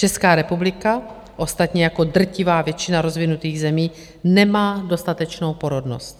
Česká republika, ostatně jako drtivá většina rozvinutých zemí, nemá dostatečnou porodnost.